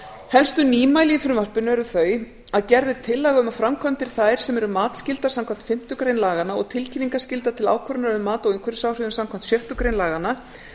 helstu nýmæli í frumvarpinu eru þau að gerð er tillaga um að framkvæmdir þær sem eru matsskyldar samkvæmt fimmtu grein laganna og tilkynningarskyldar til ákvörðunar um mat á umhverfisáhrifum samkvæmt sjöttu grein laganna